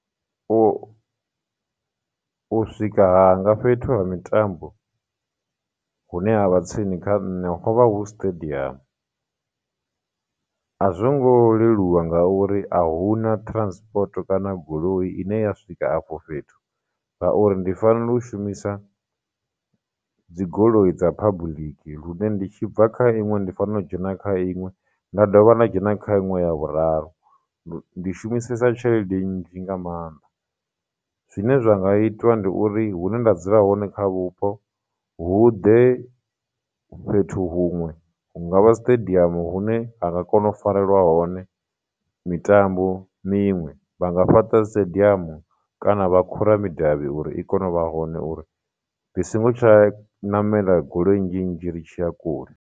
U, u swika hanga fhethu ha mitambo hune ha vha tsini kha nṋe ho vha hu stadium a zwo ngo leluwa ngauri ahuna transport kana goloi ine ya swika afho fhethu ngauri, ndi fanela u shumisa dzigoloi dza public lune ndi tshi bva kha iṅwe ndi fanela u dzhena kha iṅwe nda dovha nda dzhena kha iṅwe ya vhuraru, ndi shumisesa tshelede nnzhi nga maanḓa. Zwine zwa nga itwa ndi uri hune nda dzula hone kha vhupo, hu ḓe fhethu huṅwe, hungavha stadium hune ha nga kona u farelwa hone mitambo miṅwe, vhanga fhaṱa stadium kana vha khura midavhi uri i kone u vha hone uri ndi songo tsha ṋamela goloi nnzhi nnzhi ri tshi ya kule.